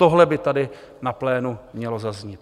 Tohle by tady na plénu mělo zaznít.